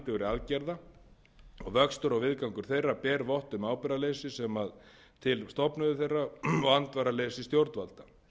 aðgerða og vöxtur og viðgangur þeirra ber vott um ábyrgðarleysi þeirra sem til þeirra stofnuðu og andvaraleysi stjórnvalda